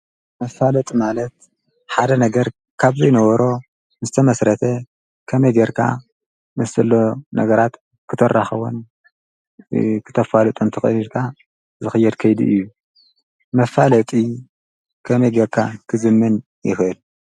መፋለጢ ማለት ሓደ ነገር ካብ ዘይነበሮ ዝተመስረተ ከመይ ጌርካ ምስ ዘሎ ነገራት ክተራኽቦን ክተፋልጦን ትኽእል ኢልካ ዝኽየድ ከይዲ እዩ። መፋለጢ ከመይ ጌርካ ክዝመን ይኽእል?